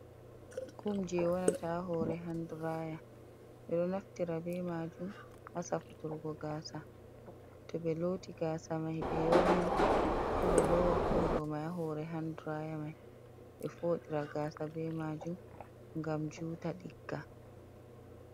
Kum je warata hore handiraya ɓeɗo naftira ɓe majum ha safutorgo gasa to ɓe loti gasa mai be yorni se be lowa kum ɗo mai hore handiraya mai ɓe foɗira gasa be majum ngam juta ɗigga.